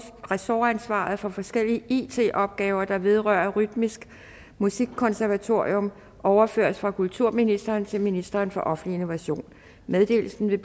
ressortansvaret for forskelllige it opgaver der vedrører rytmisk musikkonservatorium overføres fra kulturministeren til ministeren for offentlig innovation meddelelsen vil